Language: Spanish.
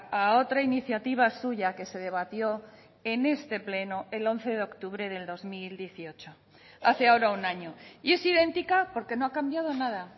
a otra iniciativa suya que se debatió en este pleno el once de octubre del dos mil dieciocho hace ahora un año y es idéntica porque no ha cambiado nada